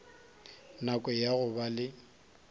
nako ya go ba le